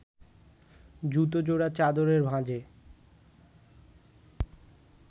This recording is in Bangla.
জুতো জোড়া চাদরের ভাঁজে